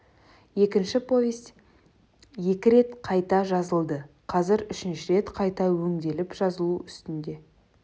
екінші повесть екі рет қайта жазылды қазір үшінші рет қайта өңделіп жазылу үстінде